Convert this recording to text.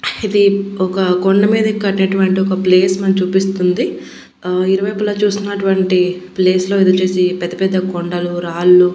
ఇది ఒక కొండ మీద కట్టినటువంటి ఒక ప్లేస్ మనం చూపిస్తుంది ఆ ఇరువైపులా చూస్తునటువంటి ప్లేస్ లో ఇదొచ్చేసి పెద్ద పెద్ద కొండలు రాళ్ళు--